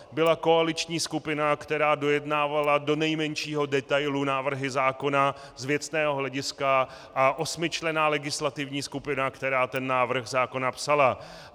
Byla koaliční skupina, která dojednávala do nejmenšího detailu návrhy zákona z věcného hlediska a osmičlenná legislativní skupina, která ten návrh zákona psala.